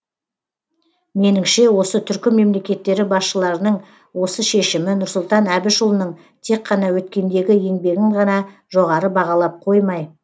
меніңше осы түркі мемлекеттері басшыларының осы шешімі нұрсұлтан әбішұлының тек қана өткендегі еңбегін ғана жоғары бағалап қоймай